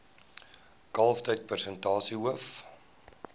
kalftyd persentasie hoof